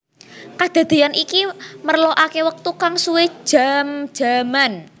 Kadadéyan iki merlokaké wektu kang suwé jam jaman